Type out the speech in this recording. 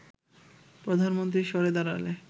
প্রধানমন্ত্রী সরে দাঁড়ালে